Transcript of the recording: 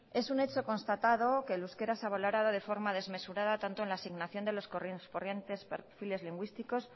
es un hecho constatado que el euskera se ha valorado de forma desmesurada tanto en la asignación de los correspondientes perfiles lingüísticos